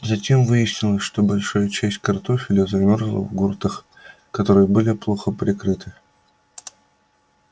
затем выяснилось что большая часть картофеля замёрзла в гуртах которые были плохо прикрыты